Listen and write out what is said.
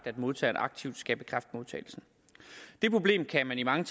at modtageren aktivt skal bekræfte modtagelsen det problem kan man i mange